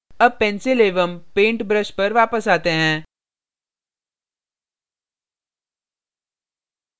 अब pencil एवं paint brush पर वापस आते हैं